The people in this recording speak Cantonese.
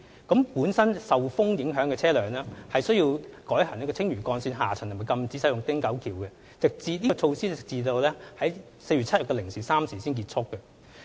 易受強風影響的車輛須改行青嶼幹線下層及禁止使用汀九橋，有關措施直至4月7日凌晨3時才取消。